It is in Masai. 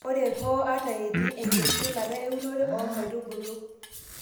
ore hoo ata etii enkitushulata eunore oo nkaitubulu